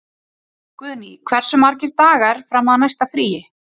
Guðný, hversu margir dagar fram að næsta fríi?